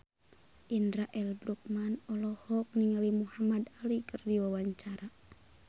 Indra L. Bruggman olohok ningali Muhamad Ali keur diwawancara